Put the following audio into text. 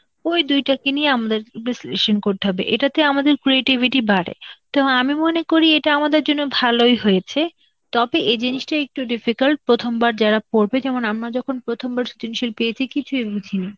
ওই দুইটাকে নিয়ে আমাদের বিশ্লেষণ করতে হবে, এটাতে আমাদের creativity বাড়ে. তো আমি মনে করি এটা আমাদের জন্য ভালই হয়েছে, তবে এই জিনিসটা একটু difficult প্রথমবার যারা পড়বে, যেমন আমরা যখন প্রথমবার সৃজনশীল পেয়েছি, কিছুই বুঝিনি,